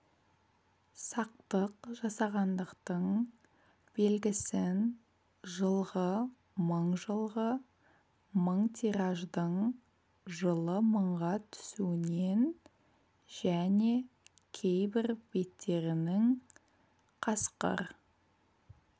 сақтық жасағандықтың белгісін жылғы мың жылғы мың тираждың жылы мыңға түсуінен және кейбір беттерінің қасқыр